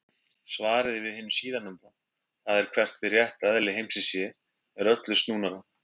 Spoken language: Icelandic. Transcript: Svarið við hinu síðarnefnda, það er hvert hið rétta eðli heimsins sé, er öllu snúnara.